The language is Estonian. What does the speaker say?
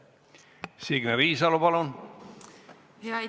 Signe Riisalo, palun!